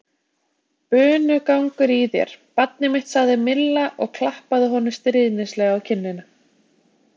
Bunugangur í þér, barnið mitt sagði Milla og klappaði honum stríðnislega á kinnina.